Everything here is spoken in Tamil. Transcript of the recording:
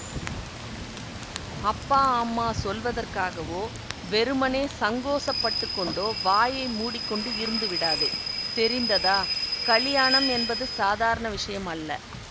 அப்பா அம்மா சொல்வதற்காகவோ வெறுமனே சங்கோசப்பட்டுக்கொண்டோ வாயை மூடி கொண்டு இருந்துவிடாதே தெரிந்ததா கலியாணம் என்பது சாதாரண விஷயம் அல்ல